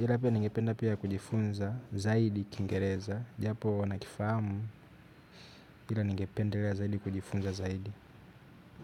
ila pia ningependa pia kujifunza zaidi kiingereza. Japo nakifamu ila ningependelea zaidi kujifunza zaidi.